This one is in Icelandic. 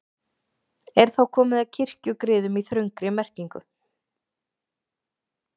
Er þá komið að kirkjugriðum í þröngri merkingu.